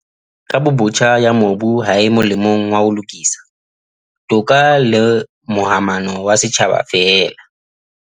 "Kabobotjha ya mobu ha e molemong wa ho lokisa, toka le momahano ya setjhaba feela."